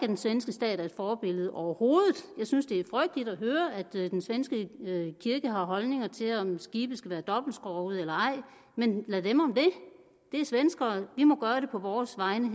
den svenske stat er et forbillede overhovedet jeg synes det er frygteligt at høre at den svenske kirke har holdninger til om skibe skal være dobbeltskrogede eller ej men lad dem om det det er svenskere vi må gøre det på vores egen